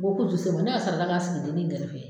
O ko k'u tɛ se o ma, ne y'a sarada k'a sigi denni gɛrɛfɛ